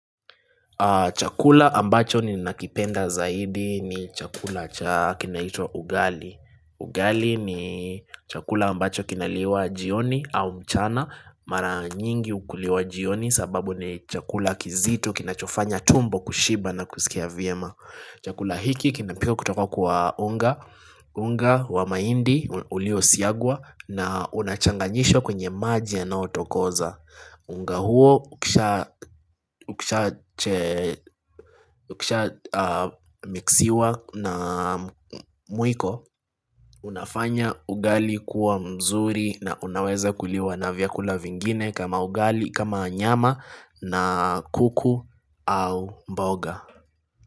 Chakula ambacho ni nakipenda zaidi ni chakula kinaitwa ugali Ugali ni chakula ambacho kinaliwa jioni au mchana Mara nyingi ukuliwa jioni sababu ni chakula kizito kinachofanya tumbo kushiba na kusikia vyema Chakula hiki kinapikwa kutoka kwa unga unga wa maindi ulio siagwa na unachanganyishwa kwenye maji yanaotokoza unga huo ukisha mixiwa na mwiko Unafanya ugali kuwa mzuri na unaweza kuliwa na vyakula vingine kama ugali kama nyama na kuku au mboga.